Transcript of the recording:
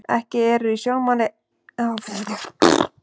Ekki eru í sjónmáli aðferðir til að tryggja að þetta ákvæði sé uppfyllt.